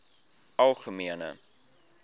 algemene